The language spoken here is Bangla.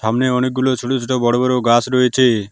সামনে অনেকগুলো ছোট ছোট বড় বড় গাস রয়েছে।